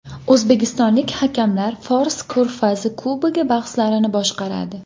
O‘zbekistonlik hakamlar Fors Ko‘rfazi Kubogi bahslarini boshqaradi.